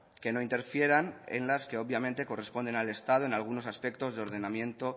que no interfieran en las que obviamente corresponden al estado en algunos aspectos de ordenamiento